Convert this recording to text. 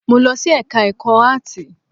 Mo lọ sí ẹka ẹ̀kọ́ áàtì.